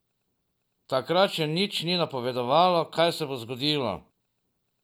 Takrat še nič ni napovedovalo, kaj se bo zgodilo.